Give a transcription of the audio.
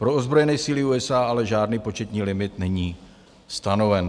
Pro ozbrojené síly USA ale žádný početní limit není stanoven.